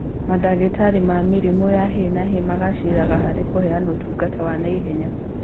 Mandagĩtarĩ ma mĩrimũ ya hi na hi magacĩraga harĩ kũheana ũtungata wa naihenya